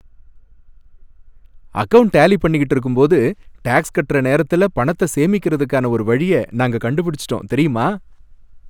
Account tally பண்ணிக்கிட்டு இருக்கும்போது, tax கட்டுற நேரத்துல பணத்தை சேமிக்குறதுக்கான ஒரு வழியை நாங்க கண்டுபிடிச்சுட்டோம், தெரியுமா?